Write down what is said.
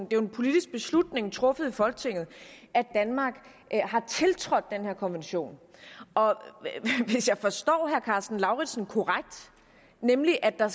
jo en politisk beslutning truffet i folketinget at danmark har tiltrådt den her konvention og hvis jeg forstår herre karsten lauritzen korrekt nemlig at der